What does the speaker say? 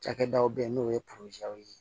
Cakɛdaw bɛ yen n'o ye ye